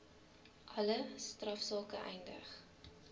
alle strafsake eindig